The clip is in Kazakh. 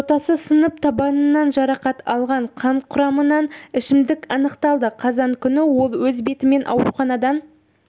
жотасы сынып табанынан жарақат алған қан құрамынан ішімдік анықталды қазан күні ол өз бетімен ауруханадан